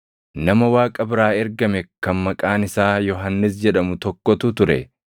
Nama Waaqa biraa ergame kan maqaan isaa Yohannis jedhamu tokkotu ture.